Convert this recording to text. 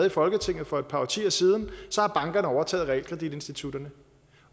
i folketinget for et par årtier siden så har bankerne overtaget realkreditinstitutterne